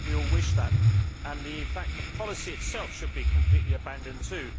I know that we all wish that, and in fact the policy itself should be completely abandoned too.